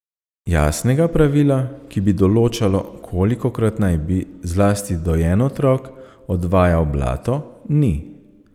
Jasnega pravila, ki bi določalo, kolikokrat naj bi, zlasti dojen otrok, odvajal blato, ni.